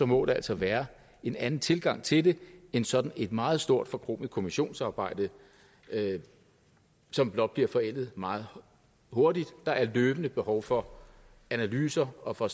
må der altså være en anden tilgang til det end sådan et meget stort forkromet kommissionsarbejde som blot bliver forældet meget hurtigt der er løbende behov for analyser og for